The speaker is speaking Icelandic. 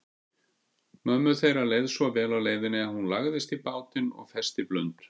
Mömmu þeirra leið svo vel á leiðinni að hún lagðist í bátinn og festi blund.